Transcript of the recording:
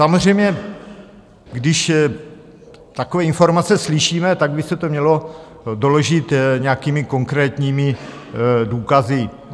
Samozřejmě, když takové informace slyšíme, tak by se to mělo doložit nějakými konkrétními důkazy.